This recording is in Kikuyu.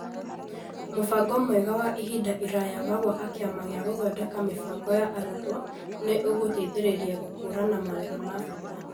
Mũbango mwega wa ihinda iraya wa gwaka Kĩama gĩa gũthondeka mĩbango ya arutwo nĩ ũgũteithĩrĩria gũkũũrana mawĩra ma bata.